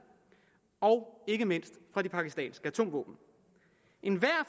og ikke mindst fra det pakistanske atomvåben enhver